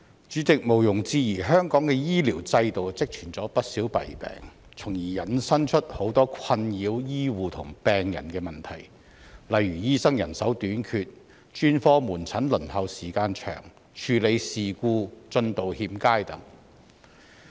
主席，毋庸置疑，香港的醫療制度積存了不少弊病，從而引申出許多困擾醫護和病人的問題，例如醫生人手短缺、專科門診輪候時間長、處理事故進度欠佳等。